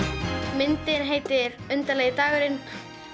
myndin heitir undarlegi dagurinn